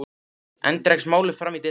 Enn dregst málið fram í desember.